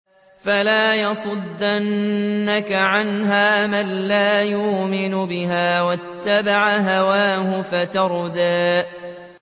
فَلَا يَصُدَّنَّكَ عَنْهَا مَن لَّا يُؤْمِنُ بِهَا وَاتَّبَعَ هَوَاهُ فَتَرْدَىٰ